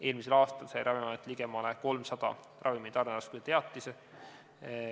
Eelmisel aastal sai Ravimiamet ligemale 300 ravimi tarneraskuse teatist.